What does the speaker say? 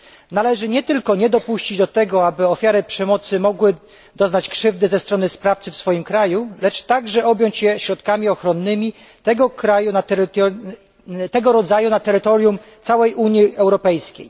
Należy nie tylko nie dopuścić do tego, aby ofiary przemocy mogły doznać krzywdy ze strony sprawcy w swoim kraju, lecz także objąć je środkami ochronnymi tego rodzaju na terytorium całej Unii Europejskiej.